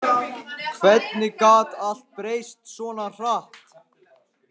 Hvernig gat allt breyst svona hratt?